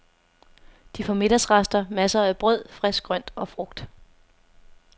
De får middagsrester, masser af brød, frisk grønt og frugt.